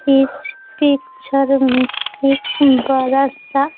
इस पिक्चर में एक बड़ा सा--